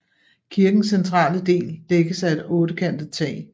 Kirkens centrale del dækkes af et ottekantet tag